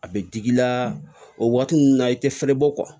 A bɛ digi i la o waati ninnu na i tɛ fɛrɛ bɔ